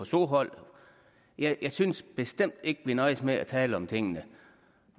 sohold jeg synes bestemt ikke at vi nøjes med at tale om tingene